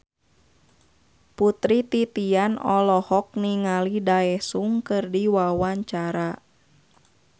Putri Titian olohok ningali Daesung keur diwawancara